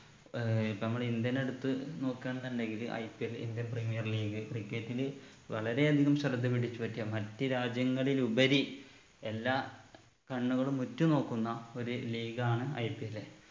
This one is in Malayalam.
ഏർ ഇപ്പൊ നമ്മളെ ഇന്ത്യനെ എട്ത്ത് നോക്കുവാണ് ന്നുണ്ടെങ്കില് IPLindian premier leaguecricket ല് വളരെ അധികം ശ്രദ്ധ പിടിച്ചു പറ്റിയ മറ്റു രാജ്യങ്ങളിലുപരി എല്ലാ കണ്ണുകളും ഉറ്റു നോക്കുന്ന ഒരു league ആണ് IPL